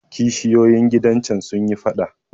Kishiyoyin gidan can sun yi faɗa.